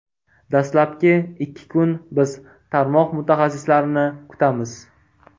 Dastlabki ikki kun biz tarmoq mutaxassislarini kutamiz.